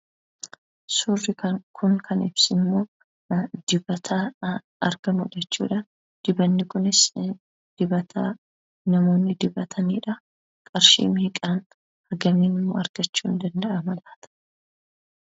Suurri kun kan ibsu immoo dibata halkanii jechuudha. Dibanni kunis dibata namoonni dibatanidha. Qarshii meeqaan argachuun danda'ama laata?